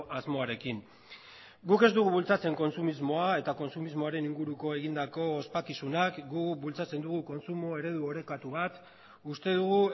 asmoarekin guk ez dugu bultzatzen kontsumismoa eta kontsumismoaren inguruko egindako ospakizunak guk bultzatzen dugu kontsumo eredu orekatu bat uste dugu